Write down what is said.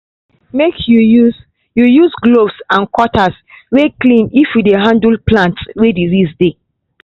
make you use you use gloves and cutters way clean if you dey handle plants way disease day